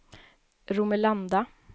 Romelanda